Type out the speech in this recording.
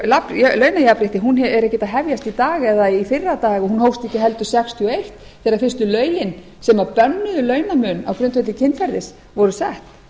er ekkert að hefjast í dag eða í fyrradag og hún hófst ekki heldur nítján hundruð sextíu og eitt þegar fyrstu lögin sem bönnuðu launamun á grundvelli kynferðis voru sett